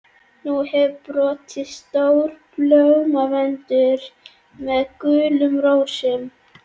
Nú hefur borist stór blómvöndur með gulum rósum.